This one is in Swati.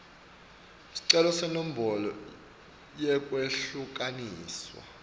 sicelo senombolo yekwehlukaniswa